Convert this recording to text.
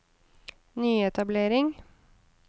nyetablering